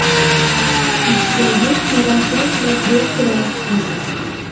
у тебя есть марафон для трех граций